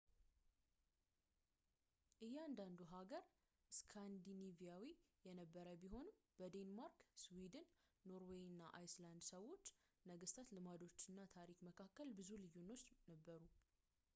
እያንዳንዱ ሃገር ስካንዲኔቪያዊ የነበረ ቢሆንም በዴንማርክ ስዊድን ኖርዌይ እና አይስላንድ ሰዎች ነገስታት ልማዶች እና ታሪክ መካከል ብዙ ልዩነቶች ነበሩ